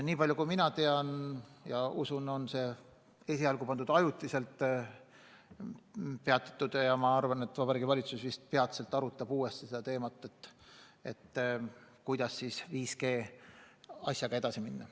Nii palju kui mina tean, on see ainult ajutiselt peatatud, ja ma arvan, et Vabariigi Valitsus vist peatselt arutab uuesti, kuidas 5G teemal edasi minna.